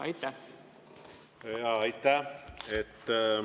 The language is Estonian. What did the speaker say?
Aitäh!